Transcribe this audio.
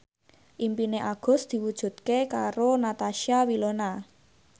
impine Agus diwujudke karo Natasha Wilona